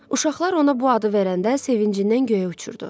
Uşaqlar ona bu adı verəndə sevincindən göyə uçurdu.